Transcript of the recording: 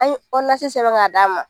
An ye sɛbɛn ka d'a ma.